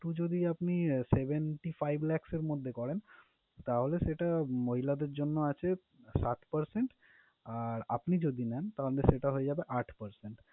যদি আপনি seventy five lakhs এর মধ্যে করেন, তাহলে সেটা মহিলাদের জন্য আছে সাত percent । আর আপনি যদি নেন তাহলে সেটা হয়ে যাবে আট percent ।